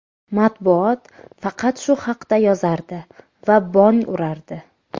Matbuot faqat shu haqda yozardi va bong urardi.